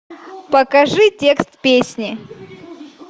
покажи текст песни